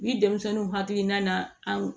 Ni denmisɛnninw hakilina na an